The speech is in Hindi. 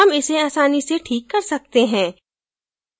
हम इसे आसानी से ठीक कर सकते हैं